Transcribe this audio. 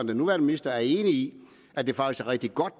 den nuværende minister er enig i at det faktisk er rigtig godt